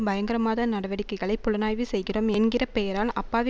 பயங்கரமாத நடவடிக்கைகளை புலனாய்வு செய்கிறோம் என்கிற பெயரால் அப்பாவி